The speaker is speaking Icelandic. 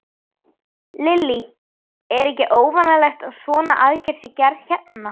Lillý: Er ekki óvanalegt að svona aðgerð sé gerð hérna?